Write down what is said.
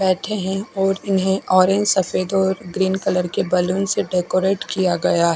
बेठे है और उन्हें ऑरेंज सफेद और ग्रीन कलर के बैलून से डेकोरेट किया गया--